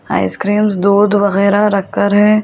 Ice cream दूध वगैरह रखकर है।